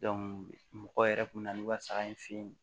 mɔgɔw yɛrɛ kun bɛ na n'u ka saga in fe yen